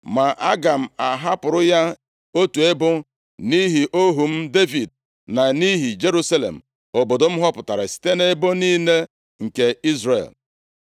Ma aga m ahapụrụ ya otu ebo, nʼihi ohu m Devid na nʼihi Jerusalem obodo m họpụtara site nʼebo niile nke Izrel.